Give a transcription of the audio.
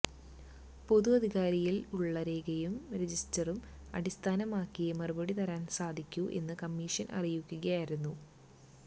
പൊതു അധികാരിയിൽ ഉള്ള രേഖയും രജിസ്റ്ററും അടിസ്ഥാനമാക്കിയേ മറുപടി തരാൻ സാധിക്കൂ എന്ന് കമ്മീഷൻ അറിയിക്കുകയായിരുന്നു